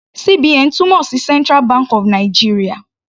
CBN túmọ̀ sí central bank of Nigeria.